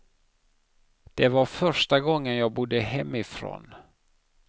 Det var första gången jag bodde hemifrån.